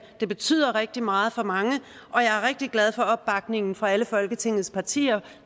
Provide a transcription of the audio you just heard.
det betyder rigtig meget for mange og jeg er rigtig glad for opbakningen fra alle folketingets partier